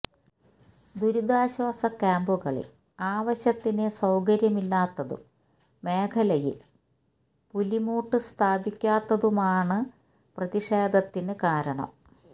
ദുരിതാശ്വാസ ക്യാമ്പുകളിൽ ആവശ്യത്തിന് സൌകര്യമില്ലാത്തതും മേഖലയിൽ പുലിമുട്ട് സ്ഥാപിക്കാത്തതുമാണ് പ്രതിഷേധത്തിന് കാരണം